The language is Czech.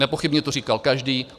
Nepochybně to říkal každý.